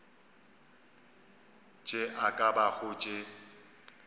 tše e ka bago tše